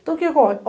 Então, o que ocorre?